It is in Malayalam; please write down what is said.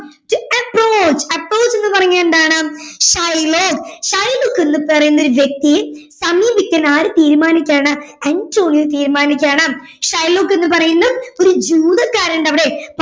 to approachaproach എന്ന് പറഞ്ഞാൽ എന്താണ് ഷൈലോക്ക് ഷൈലോക്ക് എന്ന് പറയുന്ന ഒരു വ്യക്തിയെ സമീപിക്കാൻ ആര് തീരുമാനിക്കാണ് അന്റോണിയോ തീരുമാനിക്കാണ് ഷൈലോക്ക് എന്ന് പറയുന്ന ജൂതകരന്റവിടെ